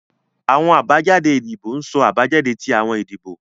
Awọn abajade idibo ń so abajade ti awọn idibo